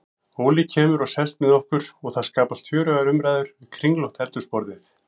Óli kemur og sest með okkur og það skapast fjörugar umræður við kringlótt eldhúsborðið.